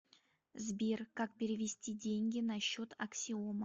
сбер как перевести деньги на счет аксиома